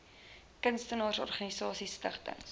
kunstenaars organisasies stigtings